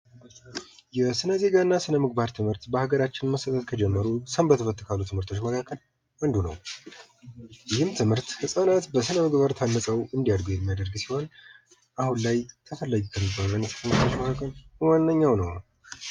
የስነዜጋና ስነምግባር ትምህርት በሀገራችን መሰጠት ከጀመሩ፥ ሰንበትበት ካሉ ትምህርቶች መካከል አንዱ ነው ይህም ትምህርት ህፃናት በስነ ምግባር ታንፀው እንዲያድጉ የሚያደርግ ሲሆን አሁን ላይ ተፈላጊ ከሚባሉ ትምህርቶች መካከል ዋነኛው ነው።